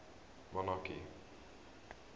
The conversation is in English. monarchy